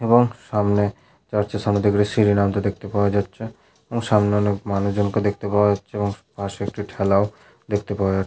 এবং সামনে চার্চ -এর সামনের দিকে একটি সিঁড়ি নামতে দেখতে পাওয়া যাচ্ছে এবং সামনে অনেকজন মানুষকে দেখতে পাওয়া যাচ্ছে পাশে একটি ঠেলাও দেখতে পাওয়া য--